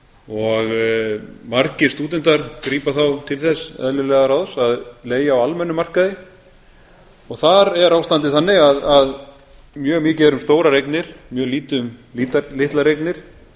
og margir stúdentar grípa þá til þess eðlilega ráðs að leigja á almennum markaði og þar er ástandið þannig að mjög mikið er um stórar eignir mjög lítið um litlar eignir